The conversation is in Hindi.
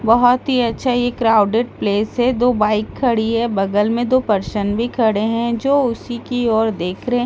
बहुत ही अच्छा ये क्राउडेड प्लेस है दो बाइक खड़ी हैं बगल में दो पर्सन्स भी खड़े हैं जो उसी की ओर देख रहे हैं एक --